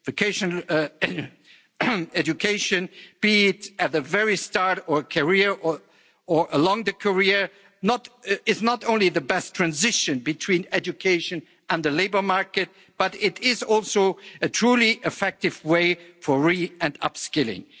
Vocational education, be it at the very start of a career or along the career, is not only the best transition between education and the labour market but it is also a truly effective way for re and upskilling.